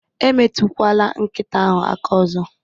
Emetụkwala nkịta ahụ aka ọzọ